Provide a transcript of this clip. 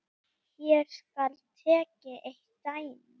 Hér skal tekið eitt dæmi.